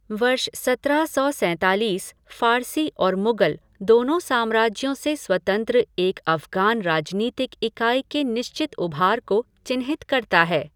वर्ष सत्रह सौ सैंतालीस फ़ारसी और मुगल दोनों साम्राज्यों से स्वतंत्र एक अफ़ग़ान राजनीतिक इकाई के निश्चित उभार को चिन्हित करता है।